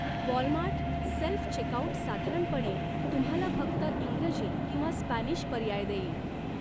Walmart self checkout साधारणपणे तुम्हाला फक्त इंग्रजी किंवा स्पॅनिश पर्याय देईल.